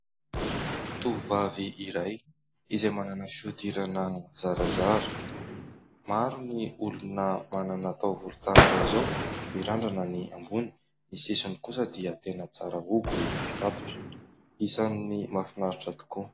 Tovovavy iray izay manana fihodirana zarazara, maro ny olona manana taovolo tahaka izao. Mirandrana ny ambony ; ny sisiny kosa dia tena tsara hogo, mifatotra. Isan'ny mahafinaritra tokoa.